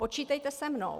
Počítejte se mnou.